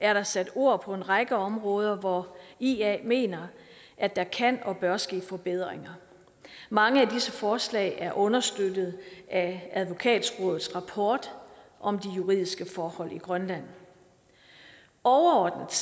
er der sat ord på en række områder hvor i ia mener at der kan og bør ske forbedringer mange af disse forslag er understøttet af advokatrådets rapport om de juridiske forhold i grønland overordnet